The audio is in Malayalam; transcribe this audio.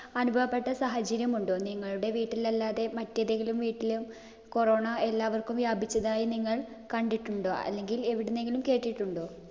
അനുഭവപ്പെട്ട സാഹചര്യമുണ്ടോ? നിങ്ങളുടെ വീട്ടിൽ അല്ലാതെ മറ്റേതെങ്കിലും വീട്ടില് corona എല്ലാവർക്കും വ്യാപിച്ചതായി നിങ്ങൾ കണ്ടിട്ടുണ്ടോ? അല്ലെങ്കിൽ എവിടെന്നെങ്കിലും കേട്ടിട്ടുണ്ടോ?